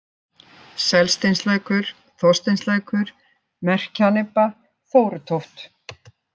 Selsteinslækur, Þorsteinslækur, Merkjanibba, Þórutóft